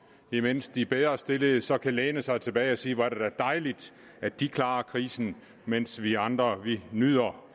imens de bedrestillede så kan læne sig tilbage og sige hvor er det da dejligt at de klarer krisen mens vi andre nyder